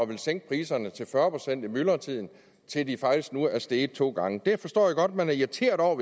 ville sænke priserne til fyrre procent i myldretiden til at de faktisk nu er steget to gange det forstår jeg godt at man er irriteret over